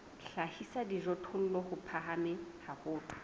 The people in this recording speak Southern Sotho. hlahisa dijothollo di phahame haholo